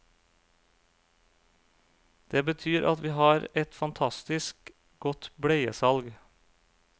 Det betyr at vi har et fantastisk godt bleiesalg.